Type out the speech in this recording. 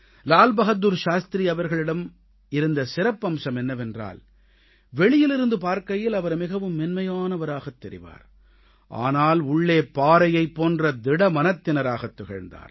லால் பகதூர் சாஸ்திரி அவர்களிடம் இருந்த சிறப்பம்சம் என்னவென்றால் வெளியிலிருந்து பார்க்கையில் அவர் மிகவும் மென்மையானவராகத் தெரிவார் ஆனால் உள்ளே பாறையைப் போன்ற திட மனத்திராகத் திகழ்ந்தார்